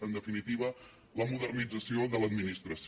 en definitiva la modernització de l’administració